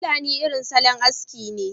pulani irin salon aski ne